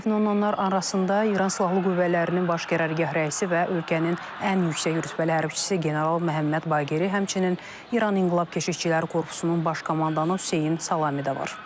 Dəfn olunanlar arasında İran silahlı qüvvələrinin baş qərargah rəisi və ölkənin ən yüksək rütbəli hərbiçisi general Məhəmməd Baqeri, həmçinin İran İnqilab Keşikçiləri Korpusunun baş komandanı Hüseyn Salami də var.